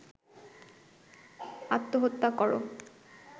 আত্মহত্যা কর